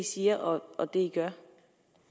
siger og det gør